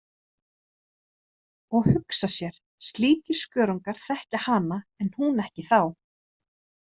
Og hugsa sér, slíkir skörungar þekkja hana en hún ekki þá.